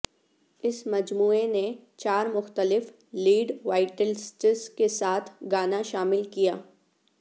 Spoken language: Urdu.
اس مجموعہ نے چار مختلف لیڈ وائٹلسٹس کے ساتھ گانا شامل کیا